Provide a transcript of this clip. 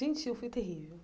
Gente, eu fui terrível.